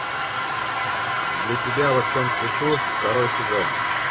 для тебя во всем цвету второй сезон